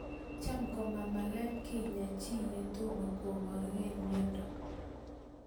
Cham ko mamagat kenyaa chii ye tomo koprkei miondo